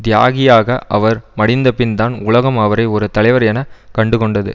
தியாகியாக அவர் மடிந்தபின்தான் உலகம் அவரை ஒரு தலைவர் என கண்டுகொண்டது